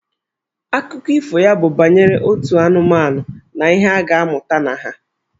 Akụkọ ifo ya bụ banyere otu anụmanụ na ihe a ga-amụta na ha.